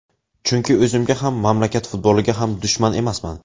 Chunki o‘zimga ham, mamlakat futboliga ham dushman emasman.